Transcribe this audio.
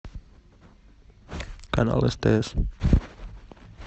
канал стс